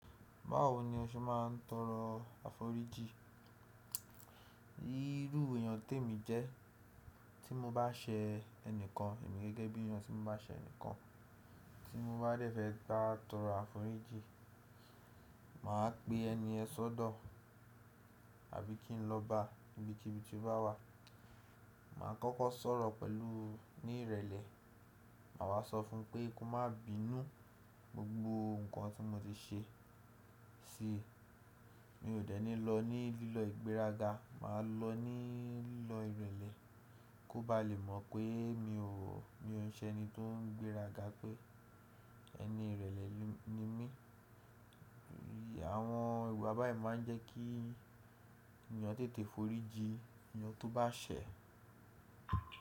Báwo ni o ṣe máa ń tọrọ àforíjì? Irú èèyàn tèmi jẹ́, tí mo bá sẹ ẹnìkan, èmi gẹ́gẹ́ bí èèyàn tí mo bá sẹ ẹnìkan, tí mo bá dẹ̀fẹ́ bá tọrọ àforíjì, màá pe ẹni ẹ́ sọ́dọ̀ àbí kí n lọ bá ibi ki ibi tí ó bá wà. Màá kọ́kọ́ sọ̀rọ̀ pẹ̀lú ní ìrèlè, màá wá sọ fún un pé kó má bínú gbogbo nǹkan tí mo ti ṣe si. Mi ò dẹ́ni lọ ní lílọ ìgbéraga, màá lọ ní lílọ ìrèlè, kó bá lè mọ̀ pé mi ò wọ̀, mi ò ń ṣe ẹni tó ń gbéraga pé ẹni ìrèlè ni mí. Àwọn ìwà báyìí máa ń jẹ́ kí èèyàn tètè foríji èèyàn tó bá ṣẹ̀